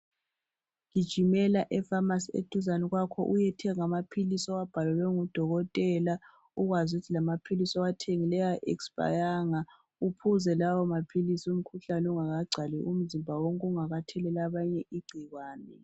Gijimela epharmacy eduzane kwakho uyethenga amaphilisi owabhalelwe ngudokotela ukwazi ukuthi lamaphilisi owathengileyo awaexpayanga uphuze lawo maphilisi umkhuhlane ungaka gcwali umzimba wonke ungakatheleli abanye igcikwane .